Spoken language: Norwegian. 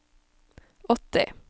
åtti